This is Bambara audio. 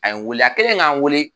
A ye n wele a kɛlen ka n wele